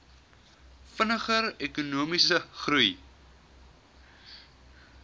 vinniger ekonomiese groei